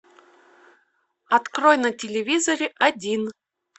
открой на телевизоре один